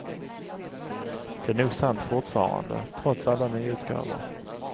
Det är nog sant fortfarande, trots alla nyutgåvor.